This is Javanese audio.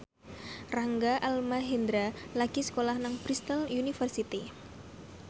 Rangga Almahendra lagi sekolah nang Bristol university